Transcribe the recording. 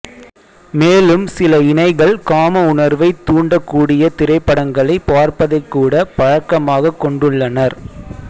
மேலும் சில இணைகள் காம உணர்வை தூண்டக்கூடிய திரைப்படங்களை பார்ப்பதைக்கூட பழக்கமாக கொண்டுள்ளனர்